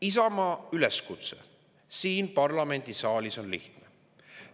Isamaa üleskutse siin parlamendisaalis on lihtne.